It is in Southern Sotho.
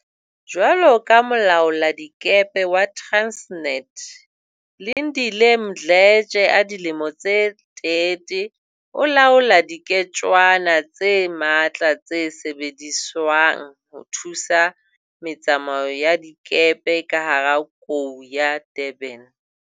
Jwaloka molaoladikepe wa Transnet, Lindile Mdletshe a dilemo tse 30 o laola diketswana tse matla tse sebediswang ho thusa me tsamao ya dikepe ka hara Kou ya Durban.